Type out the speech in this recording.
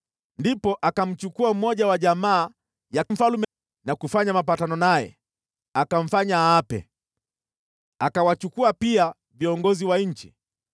Ndipo akamchukua mmoja wa jamaa ya mfalme na kufanya mapatano naye, akamfanya aape. Akawachukua pia viongozi wa nchi,